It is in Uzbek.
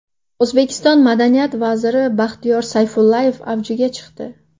O‘zbekiston madaniyat vaziri Baxtiyor Sayfullayev avjiga chiqdi.